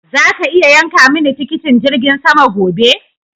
Zaka iya yanka mini tikitin jirgin sama gobe?